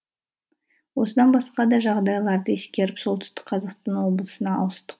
осыдан басқа да жағдайларды ескеріп солтүстік қазақстан облысына ауыстық